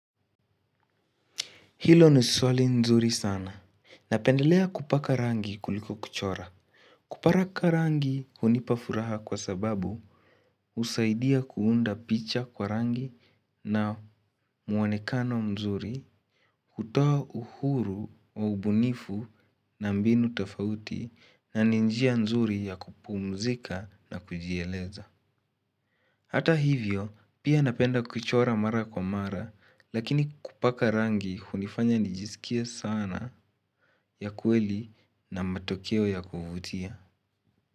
Hilo ni swali nzuri sana. Napendelea kupaka rangi kuliko kuchora. Kupaka rangi hunipa furaha kwa sababu husaidia kuunda picha kwa rangi na muanekano mzuri, utoa uhuru wa ubunifu na mbinu tafauti na ni njia nzuri ya kupumzika na kujieleza. Hata hivyo pia napenda kuchora mara kwa mara lakini kupaka rangi hunifanya nijiskie sanaa ya kweli na matokeo ya kuvutia.